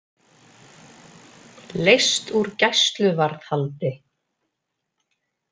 Leyst úr gæsluvarðhaldi